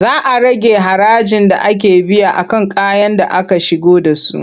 Za a rage harajin da ake biya a kan kayan da aka shigo da su.